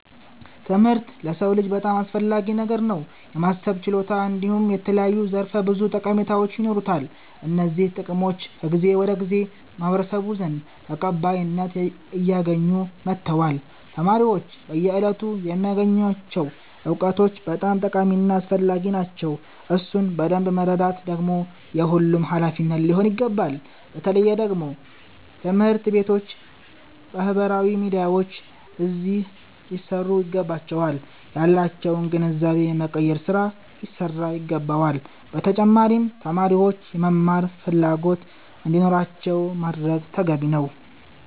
ትምህርት ለሰዉ ልጅ በጣም አስፈላጊ ነገር ነዉ። የማሰብ ችሎታ እንዲሁም የተለያዩ ዘርፈ ብዙ ጠቀሜታዎች ይኖሩታል። እነዚህ ጥቅሞች ከጊዜ ወደ ጊዜ በማህበረሰቡ ዘንድ ተቀባይነት አያገኙ መተዋል። ተማሪዎች በየእለቱ የሚያገኙቸዉ እዉቀቶች በጣም ጠቃሚ እና አስፈላጊዎች ናቸዉ። እሱን በደምብ መረዳት ደግሞ የሁሉም ሃላፊነት ሊሆን ይገባል። በተለየ ደግሞ ትምህርት ቤቶች ባህበራዊ ሚዲያዎች አዚህ ሊሰሩ ይገባቸዋል። ያላቸዉንም ግንዛቤ የመቀየር ስራ ሊሰራ ይገባዋል። በተጫማሪም ተማሪዎች የመማር ፈላጎት እንዲኖራቸዉ ማድረግ ተገቢ ነዉ።